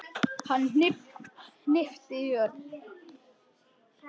Hann hnippti í Örn.